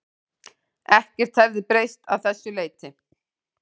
Ekkert hefði breyst að þessu leyti